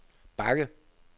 bakke